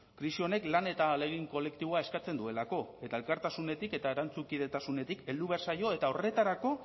krisi honek lan eta ahalegin kolektiboa eskatzen duelako eta elkartasunetik eta erantzukidetasunetik heldu behar zaio eta horretarako